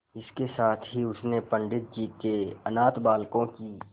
इसके साथ ही उसने पंडित जी के अनाथ बालकों की